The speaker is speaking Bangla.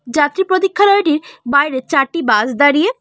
যাত্রী প্রতীক্ষালয়টির বাইরে চারটি বাস দাঁড়িয়ে।